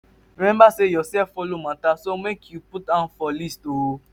remmba sey urself follow mata so mek yu put am for list too